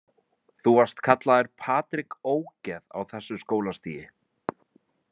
Þú varst kallaður Patrik ógeð á þessu skólastigi?